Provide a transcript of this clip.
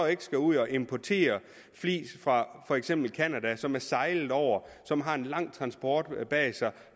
ikke skal ud at importere flis fra for eksempel canada som er sejlet over som har en lang transport bag sig